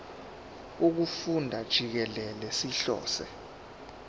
wokufunda jikelele sihlose